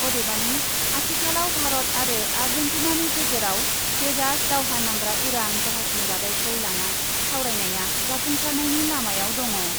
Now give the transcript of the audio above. अदेबानि आथिखालाव भारत आरो आर्जेन्टिनानि गेजेराव तेजास दावहा नांग्रा उरां जाहाजनि रादायखौ लाना सावरायनाया जाफुंसारनायनि लामायाव दङ ।